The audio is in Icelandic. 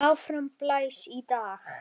Áfram blæs í dag.